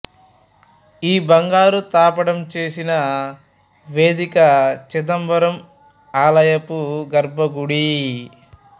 ఈ బంగారు తాపడం చేసిన వేదిక చిదంబరం ఆలయపు గర్భగుడి